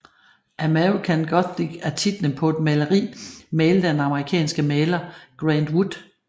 American Gothic er titlen på et maleri malet af den amerikanske maler Grant Wood